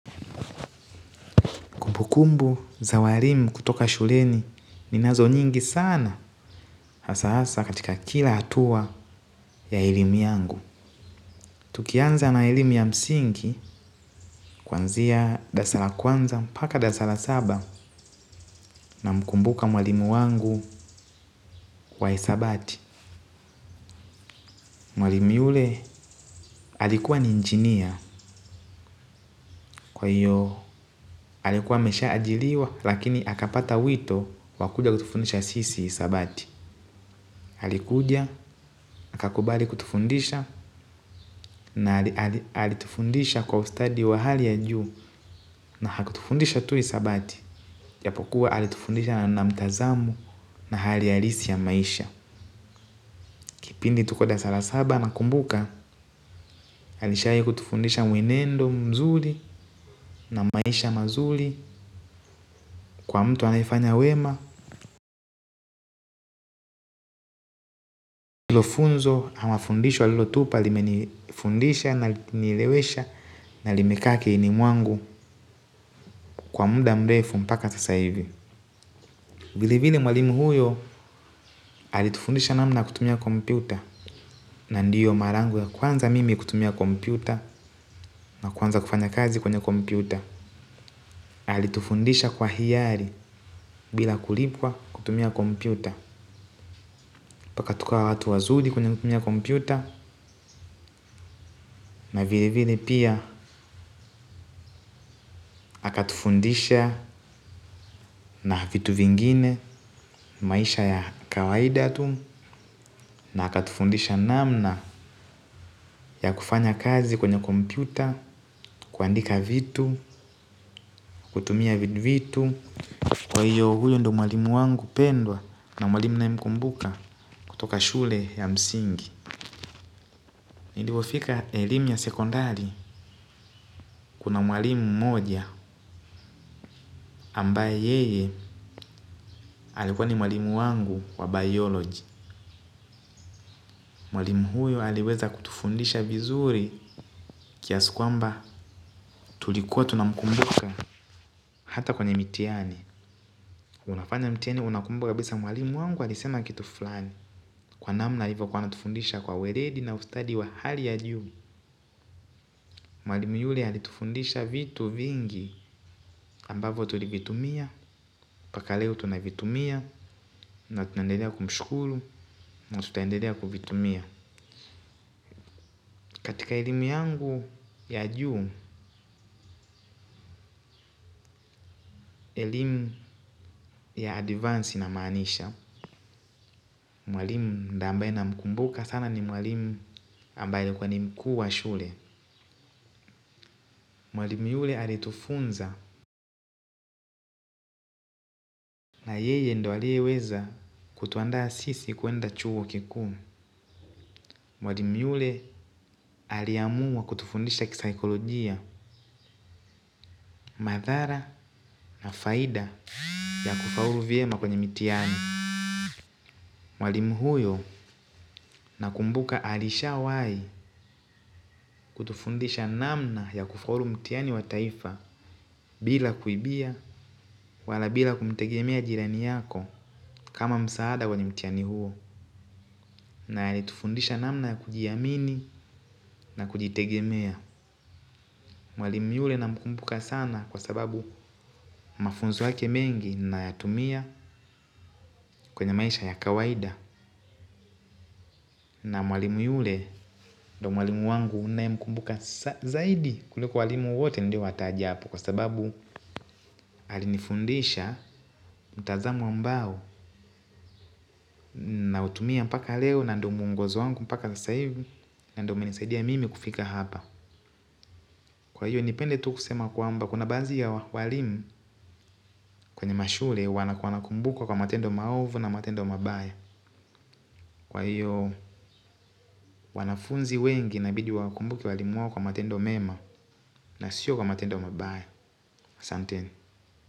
Kumbukumbu za warimu kutoka shuleni ninazo nyingi sana hasa hasa katika kila atua ya elimu yangu. Tukianza na elimu ya msinki kwanzia dasala kwanza paka dasala saba na mkumbuka mwalimu wangu wa isabati. Mwalimu yule alikuwa ni injinia kwa hiyo alikuwa ameshaajiliwa lakini akapata wito wa kuja kutufundisha sisi hisabati. Alikuja akakubali kutufundisha na alitufundisha kwa ustadi wa hali ya juu na hakutufundisha tu hisabati. Japokuwa alitufundisha na mtazamo na hali halisi ya maisha. Kipindi tuko darasa la saba nakumbuka alishawahi kutufundisha mwenendo mzuri na maisha mazuri kwa mtu anayefanya wema. Hilo funzo ama fundisho alilotupa limenifundisha na likanielewesha na limekaa akilini mwangu kwa muda mrefu mpaka sasa hivi. Vile vile mwalimu huyo alitufundisha namna ya kutumia kompyuta na ndiyo maraa yangu ya kwanza mimi kutumia kompyuta na kuanza kufanya kazi kwenye kompyuta alitufundisha kwa hiari bila kulipwa kutumia kompyuta mpaka tukawa watu wazuri kwenye kutumia kompyuta na vile vile pia akatufundisha na vitu vingine maisha ya kawaida tu na akatufundisha namna ya kufanya kazi kwenye kompyuta kuandika vitu kutumia vitu, kwa hiyo huyo ndio mwalimu mpendwa na mwalimu ninayemkumbuka kutoka shule ya msingi. Nilipofika elimu ya sekondari kuna mwalimu mmoja ambaye yeye alikuwa ni mwalimu wangu wa bioloji. Mwalimu huyo aliweza kutufundisha vizuri kiasi kwamba tulikuwa tunamkumbuka. Hata kwenye mitihani, unafanya mitihani unakumbuka kabisa mwalimu wangu alisema kitu fulani. Kwa namna hivo kwani alitufundisha kwa uweledi na ustadi wa hali ya juu. Mwalimu yule alitufundisha vitu vingi ambavo tulivitumia, mpaka leo tunavitumia na tunaendelea kumshukuru na tutaendelea kuvitumia katika elimu yangu ya juu elimu ya advance inamaanisha mwalimu ambaye namkumbuka sana ni mwalimu ambaye alikuwa ni mku wa shule mwalimu yule aliyetufunza na yeye ndo aliyeweza kutuandaa sisi kwenda chuo kikuu. Mwalimu yule aliamua kutufundisha kisaikolojia madhara na faida ya kufaulu vyema kwenye mitihani mwalimu huyo nakumbuka alishawahi kutufundisha namna ya kufaulu mtihani wa taifa bila kuibia wala bila kumtegemea jirani yako kama msaada wenye mtihani huo na alitufundisha namna ya kujiamini na kujitegemea. Mwalimu yule namkumbuka sana kwa sababu mafunzo yake mengi nayatumia kwenye maisha ya kawaida. Na mwalimu yule ndio mwalimu wangu nayemkumbuka zaidi kuliko walimu wote niliowataja hapo. Kwa sababu alinifundisha mtazamo ambao nautumia mpaka leo na ndo mwongozo wangu mpaka sasa hivi na ndo umenisaidia mimi kufika hapa. Kwa hiyo nipende tu kusema kwamba kuna baadhi ya walimu kwenye mashule wanakumbukwa kwa matendo maovu na matendo mabaya. Kwa hiyo wanafunzi wengi inabidi wakumbuke walimu wao kwa matendo mema. Na sio kwa matendo mabaya asanteni.